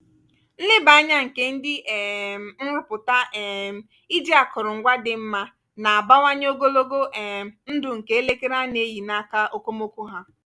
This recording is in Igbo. nleba anya nke ndị um nrụpụta um iji akụrụngwa dị mma na-abawanye ogologo um ndụ nke elekere a na-eyi n'aka okomoko ha.